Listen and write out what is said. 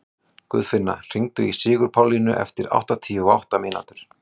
Guðfinna, hringdu í Sigurpálínu eftir áttatíu og átta mínútur.